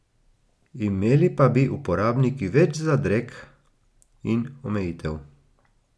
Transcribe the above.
Imeli pa bi uporabniki več zadreg in omejitev.